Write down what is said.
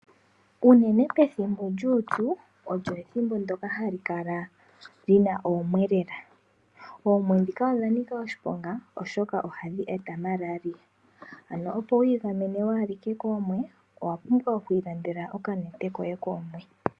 Unene pethimbo lyuupyu olyo ethimbo ndyoka hali kala lina oomwe lela. Oomwe dhika odha nika oshiponga oshoka ohadhi eta Malaria. Ano opo wu igamene waalike koomwe owa pumbwa oku ilandela oka nete koye koomwe.